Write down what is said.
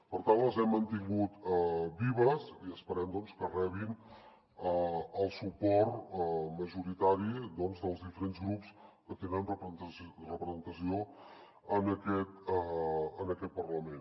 per tant les hem mantingut vives i esperem doncs que rebin el suport majoritari dels diferents grups que tenen representació en aquest parlament